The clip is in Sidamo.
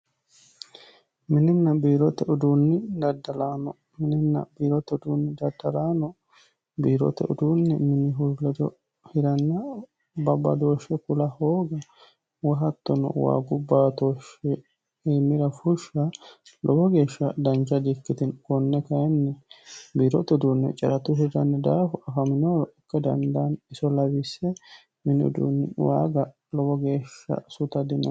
mininna biirote uduunni daddalaano mininna biirote uduunni daddalaano biiroote uduunni minihu ledo hiranna babbadooshshe kula hooga woyi hattono waagu baatooshshi iimira fushsha lowo geeshsha dancha di ikkitino konne kayinni biirote uduunni caratunni hirranni daafo afaminoro ikka dandaani iso lawisse mini uduunni waaga lowo geeshsha suta dino.